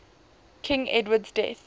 king edward's death